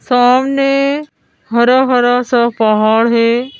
सामने हरा हरा सा पहाड़ है।